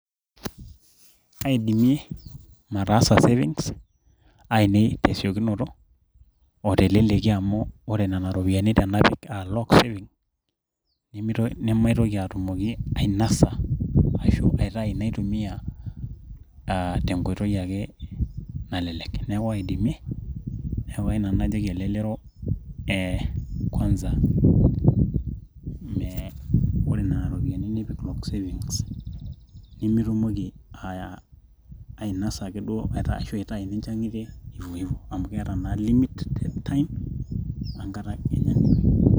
Kaidimie mataasa savings ainei tesiokunoto o teleleki amu ore nonaropiyani tanapika anaa lock savings naitoki atumoki ainasa aitau naitumia tenkoitoi ake nalelek neaku kayieu nanu najoki elelero aa kwanza ore nona ropiyiani nipik savings nimitumoki aya ainasa ake amu keeta naa limited time